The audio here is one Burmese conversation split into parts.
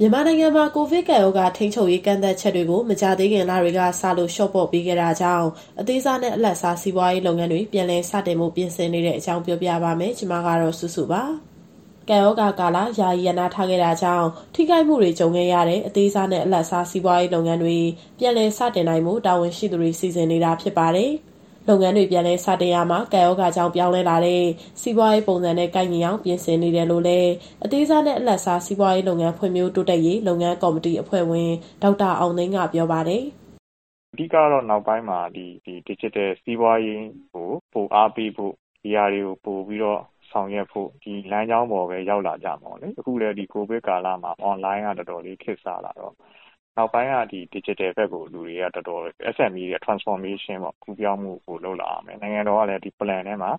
မြန်မာနိုင်ငံမှာ ကိုဗစ်ကပ်ရောဂါ ထိန်းချုပ်ရေး ကန့်သတ်ချက်တွေကို မကြာသေးခင်လတွေကစလို့ လျှော့ပေါ့ပေးခဲ့တာကြောင့် အသေးစားနဲ့ အလတ်စား စီးပွားရေးလုပ်ငန်းတွေ ပြန်လည်စတင်ဖို့ ပြင်ဆင်နေတဲ့အကြောင်းကို ဗွီအိုအေမြန်မာပိုင်း သတင်းထောက် မစုစုက ပြောပြပါမယ်။ ကပ်ရောဂါကာလ ယာယီရပ်နားထားခဲ့တာကြောင့် ထိခိုက်မှုတွေ ကြုံခဲ့ရတဲ့ အသေးစားနဲ့ အလတ်စား စီးပွားရေးလုပ်ငန်းတွေ ပြန်လည်စတင်နိုင်ဖို့ တာဝန်ရှိသူတွေ စီစဉ်နေတာ ဖြစ်ပါတယ်။ လုပ်ငန်းတွေ ပြန်လည်စတင်ရာမှာ ကပ်ရောဂါကြောင့် ပြောင်းလဲလာတဲ့ စီးပွားရေး ပုံစံနဲ့ ကိုက်ညီအောင် ပြင်ဆင်နေတယ်လို့လည်း အသေးစားနဲ့ အလတ်စား စီးပွားရေးလုပ်ငန်း SME ဖွံ့ဖြိုးတိုးတက်ရေး လုပ်ငန်းကော်မတီ အဖွဲ့ဝင် ဒေါက်တာအောင်သိန်းက ပြောပါတယ်။ "အဓိကတော့ နောက်ပိုင်းမှာ ဒစ်ဂျစ်တယ်စီးပွားရေးကို ပိုအားပေးဖို့၊ ဒါတွေကို ပိုပြီးတော့ ဆောင်ရွက်ဖို့၊ ဒီလမ်းကြောင်းပေါ်ပဲ ရောက်လာကြမှာပေါ့လေ။ အခုလည်း ဒီကိုဗစ်ကာလမှာအွန်လိုင်းကတော်တော်လေး ခေတ်စားလာတော့ နောက်ပိုင်းက ဒီဒစ်ဂျစ်တယ်ဘက်ကို SMEs တွေရဲ့ Transformation ပေါ့၊ ကူးပြောင်းမှုတွေ လုပ်လာရမယ်။ နိုင်ငံတော်ကလည်း ဒီ plan (အစီအစဉ်) ထဲမှာ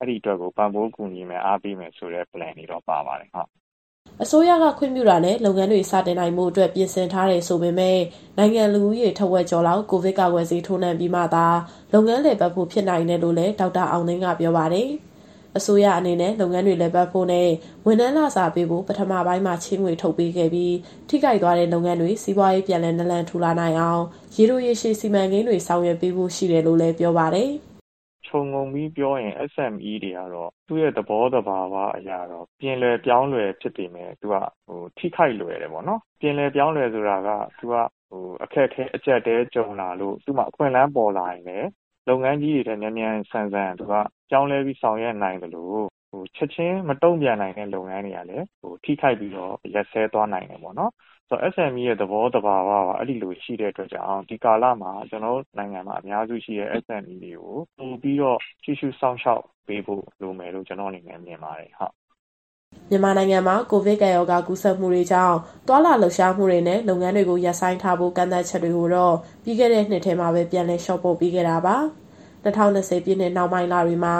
အဲဒီအတွက်ကို ပံ့ပိုးကူညီမယ်၊ အားပေးမယ်ဆိုတဲ့ plan တွေတော့ ပါပါတယ်။" အစိုးရက ခွင့်ပြုတာနဲ့ လုပ်ငန်းတွေ စတင်နိုင်ဖို့အတွက် ပြင်ဆင်ထားတယ်ဆိုပေမဲ့ နိုင်ငံလူဦးရေထက်ဝက်ကျော်လောက် ကိုဗစ်ကာကွယ်ဆေး ထိုးနှံပြီးမှသာ လုပ်ငန်းလည်ပတ်ဖို့ ဖြစ်နိုင်တယ်လို့လည်း ဒေါက်တာအောင်သိန်းက ပြောပါတယ်။ အစိုးရအနေနဲ့ လုပ်ငန်းတွေလည်ပတ်ဖို့နဲ့ ဝန်ထမ်းလစာပေးဖို့ ပထမပိုင်းမှာ ချေးငွေထုတ်ပေးခဲ့ပြီး ထိခိုက်သွားတဲ့လုပ်ငန်းတွေ စီးပွားရေးပြန်လည်နာလန်ထူလာအောင် ရေတိုရေရှည် စီမံကိန်းတွေဆောင်ရွက်ပေးဖို့ရှိတယ်လို့လည်း ပြောပါတယ်။ "ခြုံငုံပြီးပြောရင် SMEs တွေကတော့ သူ့ရဲ့သဘောသဘာဝအရ ပြင်လွယ်ပြောင်းလွယ်ဖြစ်ပေမယ့် သူက ထိခိုက်လွယ်တယ်ပေါ့နော်။ ပြင်လွယ်ပြောင်းလွယ်ဆိုတာက သူကအခက်အခဲ အကြပ်အတည်း ကြုံလာလို့ သူ့မှာအခွင့်အလမ်းပေါ်လာရင်လည်း လုပ်ငန်းကြီးတွေထက် မြန်မြန်ဆန်ဆန်သူက ပြောင်းလဲပြီးဆောင်ရွက်နိုင်သလို၊ ချက်ချင်းမတုံ့ပြန်နိုင်တဲ့လုပ်ငန်းတွေကလည်း ထိခိုက်ပြီးတော့ ရပ်စဲသွားနိုင်တယ်ပေါ့နော်။ ဆိုတော့ SMEs တွေရဲ့ သဘောသဘာဝကိုက အဲလိုရှိတဲ့အတွက်ကြောင့် ဒီကာလမှာ ကျနော်တို့နိုင်ငံမှာအများစုရှိတဲ့ SMEs တွေကို ပိုပြီးတော့ကြည့်ရှုစောင့်ရှောက်ပေးဖို့ လိုမယ်လို့ ကျနော့်အနေနဲ့မြင်ပါတယ်။" မြန်မာနိုင်ငံမှာ ကိုဗစ်ကပ်ရောဂါ ကူးစက်မှုတွေကြောင့် သွားလာလှုပ်ရှားမှုတွေနဲ့ လုပ်ငန်းတွေကို ရပ်ဆိုင်းထားဖို့ ကန့်သတ်ချက်တွေကိုတော့ ပြီးခဲ့တဲ့နှစ်ထဲမှာပဲ ပြန်လည် လျှော့ပေါ့ပေးခဲ့တာပါ။ ၂၀၂၀ ပြည့်နှစ်နှောင်းပိုင်း လတွေမှာ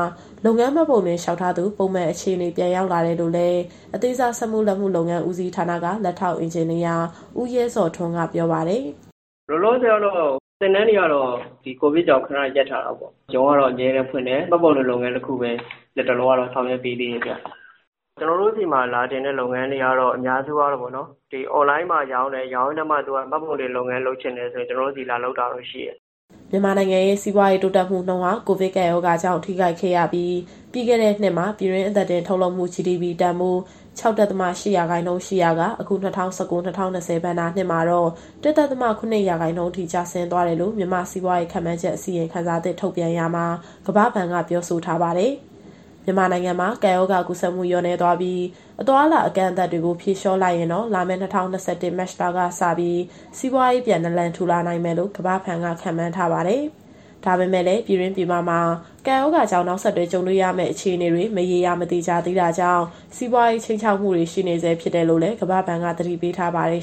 လုပ်ငန်းမှတ်ပုံတင် လျှောက်ထားသူ ပုံမှန်အခြေအနေ ပြန်ရောက်လာတယ်လို့လည်း အသေးစားစက်မှုလက်မှု လုပ်ငန်းဦးစီးဌာန (ရန်ကုန်)က လက်ထောက်အင်ဂျင်နီယာ ဦးရဲဇော်ထွန်းက ပြောပါတယ်။ "လောလောဆယ်ကတော့ သင်တန်းတွေကတော့ ဒီကိုဗစ်ကြောင့် ခဏရပ်ထားရတာပေါ့။ ရုံးကတော့ အမြဲတမ်းဖွင့်တယ်၊ မှတ်ပုံတင်လုပ်ငန်းတခုပဲ လတ်တလောကတော့ ဆောင်ရွက်ပေးသေးတယ်ဗျ။ ကျနော်တို့ဆီမှာ လာတင်တဲ့လုပ်ငန်းတွေကတော့ အများစုကတော့ ဒီအွန်လိုင်းမှာရောင်းတယ်၊ ရောင်းရင်းနဲ့မှ သူကမှတ်ပုံတင်လုပ်ငန်းလုပ်ချင်တယ်ဆိုရင် ကျနော်တို့ဆီလာ လုပ်တာတော့ရှိတယ်။" မြန်မာနိုင်ငံရဲ့ စီးပွားရေးတိုးတက်မှုနှုန်းဟာ ကိုဗစ်ကပ်ရောဂါကြောင့် ထိခိုက်ခဲ့ရပြီး ပြီးခဲ့တဲ့နှစ်မှာ ပြည်တွင်းအသားတင်ထုတ်လုပ်မှု GDP တန်ဖိုး ၆.၈ ရှိရာကနေ အခု ၂၀၁၉- ၂၀၂၀ ဘဏ္ဍာနှစ်မှာတော့ ၁.၇ ရာခိုင်နှုန်းအထိ ကျဆင်းသွားကြောင်း မြန်မာနိုင်ငံစီးပွားရေး ခန့်မှန်းချက် အစီရင်ခံစာသစ် ထုတ်ပြန်ရာမှာ ကမ္ဘာ့ဘဏ်က ပြောဆိုထားပါတယ်။ မြန်မာနိုင်ငံမှာ ကပ်ရောဂါ ကူးစက်မှု လျော့နည်းသွားပြီး အသွားအလာ အကန့်အသတ်တွေကို ဖြေလျော့လိုက်ရင်တော့ လာမယ့် ၂၀၂၁ မတ်လကစပြီး စီးပွားရေး ပြန်နာလန်ထူနိုင်လိမ့်မယ်လို့ ကမ္ဘာ့ဘဏ်က ခန့်မှန်းထားပါတယ်။ ဒါပေမဲ့လည်း ပြည်တွင်း၊ ပြည်ပမှာ ကပ်ရောဂါကြောင့် နောက်ဆက်တွဲ ကြုံရမယ့် အခြေအနေတွေ မရေရာ မသေချာသေးတာကြောင့် စီးပွားရေးအတွက် ခြိမ်းခြောက်မှုတွေ ရှိနေဆဲ ဖြစ်တယ်လို့လည်း ကမ္ဘာ့ဘဏ်က သတိပေးထားပါတယ်